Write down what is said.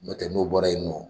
Nɔtɛ, n'o bɔra yen nɔ